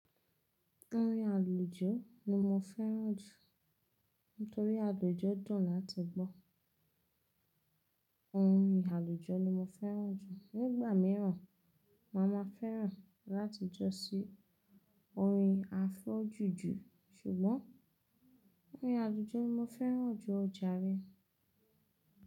Orin àlùjọ ni mo fẹ́ràn jù nítorí àlùjọ dùn láti gbọ́. Orin àlùjọ ni mo fẹ́ràn jù. Nígbà mìíràn, má máa fẹ́ràn láti jọ sí orin afro jujù ṣùgbọ́n orin àlùjọ ni mo fẹ́ràn jù, ọjà rẹ.